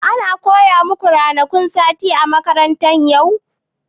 An koya maku ranakun sati a makaranta yau?